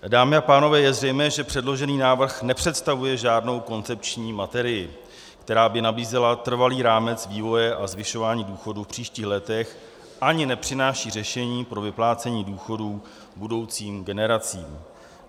Dámy a pánové, je zřejmé, že předložený návrh nepředstavuje žádnou koncepční materii, která by nabízela trvalý rámec vývoje a zvyšování důchodů v příštích letech, ani nepřináší řešení pro vyplácení důchodů budoucím generacím.